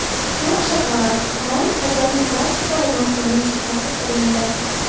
To‘q shokolad rang azaliy klassika va mavsumning shubhasiz trendi.